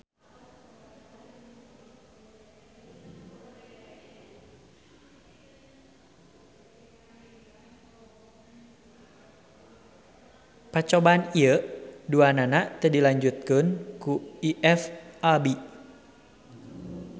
Pacobaan ieu duanana teu dilanjutkeun ku IFAB.